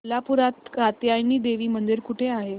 कोल्हापूरात कात्यायनी देवी मंदिर कुठे आहे